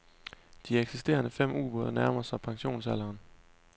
De eksisterende fem ubåde nærmer sig pensionsalderen.